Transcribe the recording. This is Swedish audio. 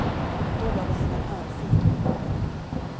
Då gav jag henne en örfil.